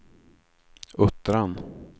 Uttran